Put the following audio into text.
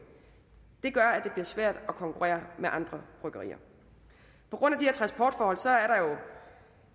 det gør at det bliver svært at konkurrere med andre bryggerier på grund af de her transportforhold